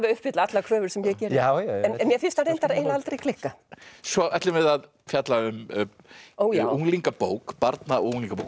uppfylla allar kröfur sem ég geri en mér finnst hann eiginlega aldrei klikka svo ætlum við að fjalla um unglingabók barna og unglingabók